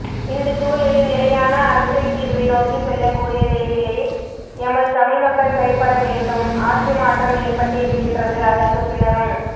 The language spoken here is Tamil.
இந்தச்சூழலில் நிலையான அரசியல்தீர்வை நோக்கிச் செல்லக்கூடிய நிலையிலே எமது தமிழ்மக்கள் செயற்படவேண்டும் ஆட்சிமாற்றம் ஏற்பட்டு இருக்கின்றது அதற்குப்பின்னரும்